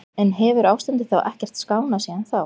En hefur ástandið þá ekkert skánað síðan þá?